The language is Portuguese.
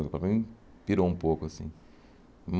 Para mim, pirou um pouco, assim.